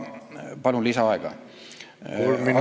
Palun lisaaega!